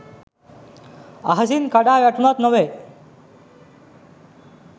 අහසින් කඩා වැටුණක් නොවේ.